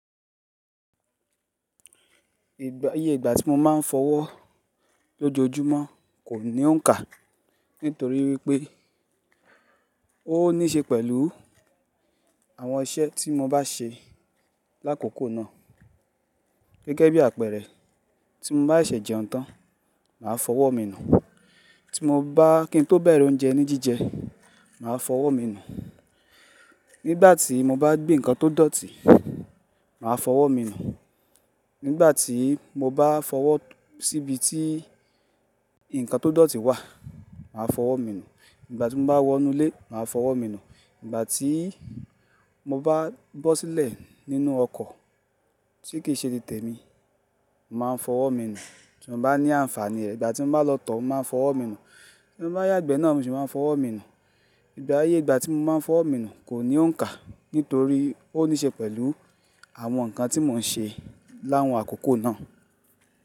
Ìgbà, iye ìgbà tí mo máa ń fọwọ́ lójoojúmọ́ kò ní òǹkà nítorí wípé ó níṣe pẹ̀lú àwọn iṣẹ́ tí mo bá ṣe lákòókò náà. Gẹ́gẹ́ bí àpẹẹrẹ, tí mo bá ṣẹ̀se jẹun tán, màá fọwọ́ mi nù. Tí mo bá kí n tó bẹ̀rẹ̀ oúnjẹ ní jíjẹ, màá fọwọ́ mi nù. Nígbà tí mo bá gbé nǹkan tó dọ̀tí, màá fọwọ́ mi nù. Nígbà tí mo bá fọwọ́ síbi tí nǹkan tó dọ̀tí wà, màá fọwọ́ mi nù. Nígbà tí mo bá wọnú lé, màá fọwọ́ mi nù. Nígbà tí mo bá bọ́ sílẹ̀ nínú ọkọ̀ tí kì í ṣe ti tèmi, màá fọwọ́ mi nù. Tí mo bá ní àǹfààní ẹ̀, nigbá tí mo bá lọ̀tọ̀, mo màá fọwọ́ mi nù. Tí mo bá yàgbẹ́ náà mo sì máa fọwọ́ mi nù. Ìgbà, iye ìgbà tí mo máa ń fọwọ́ mi nù kò ní òuǹkà, nítorí ó níṣe pẹ̀lú àwọn nǹkan tí mò ń ṣe láwọn àkókò náà.